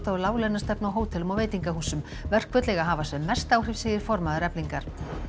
og láglaunastefnu á hótelum og veitingahúsum verkföll eiga að hafa sem mest áhrif segir formaður Eflingar